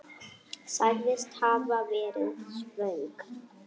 Sagðist hafa verið svöng.